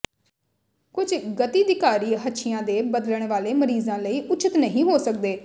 ਕੁਝ ਗਤੀਧਿਕਾਰੀ ਹੱਛੀਆਂ ਦੇ ਬਦਲਣ ਵਾਲੇ ਮਰੀਜ਼ਾਂ ਲਈ ਉਚਿਤ ਨਹੀਂ ਹੋ ਸਕਦੇ